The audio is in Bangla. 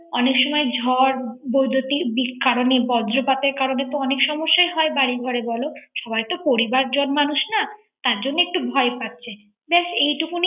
অনেক সময় ঝড় বৈদুতিক কারনের, বর্জপাতের কারনের তো অনেক সমস্যা হয় বাড়ি ঘরে বল। সাবাই তো পরিবার জন মানুষ না । তার জন্য একটু ভয় পাচ্ছে